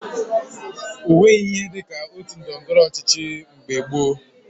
O nweghi ihe dị ka otu ndọrọndọrọ ọchịchị mgbe gboo